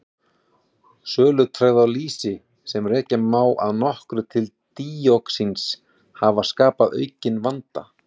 Sölutregðu á lýsi, sem rekja má að nokkru til díoxíns hafa skapað aukinn vanda.